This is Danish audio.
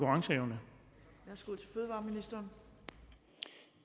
med